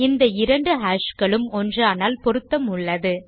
இந்த இரண்டு ஹாஷ் களும் ஒன்றானால் பொருத்தம் உள்ளது